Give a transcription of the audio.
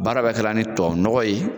Baara bɛɛ kɛra ni tubabunɔgɔ ye.